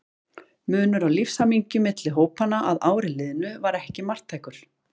Munur á lífshamingju milli hópanna að ári liðnu var ekki marktækur.